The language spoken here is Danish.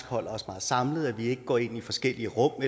holder os meget samlet altså at vi ikke går ind i forskellige rum og